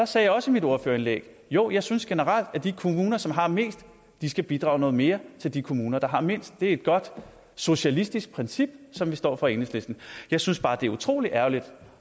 sagde jeg også i mit ordførerindlæg jo jeg synes generelt at de kommuner som har mest skal bidrage noget mere til de kommuner der har mindst det er et godt socialistisk princip som vi står for i enhedslisten jeg synes bare det er utrolig ærgerligt